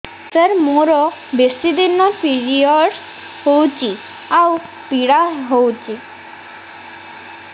ସାର ମୋର ବେଶୀ ଦିନ ପିରୀଅଡ଼ସ ହଉଚି ଆଉ ପୀଡା ହଉଚି